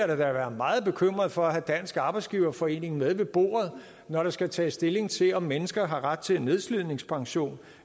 da være meget bekymret for at have dansk arbejdsgiverforening med ved bordet når der skal tages stilling til om mennesker har ret til nedslidningspension